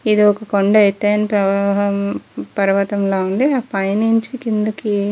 ఇది ఒక కొండ ఎతైన ప్రవాహం పర్వతం లా ఉంది పై నించి కిందకి --